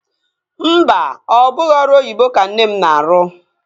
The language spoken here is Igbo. Mba, ọ bụghị ọrụ oyibo ka nne m na-arụ